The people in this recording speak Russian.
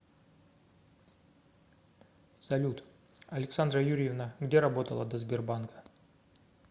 салют александра юрьевна где работала до сбербанка